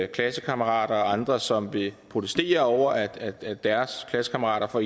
klassekammerater og andre som vil protestere over at at deres klassekammerater får